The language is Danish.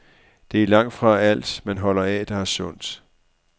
Det er langtfra alt, man holder af, der er sundt.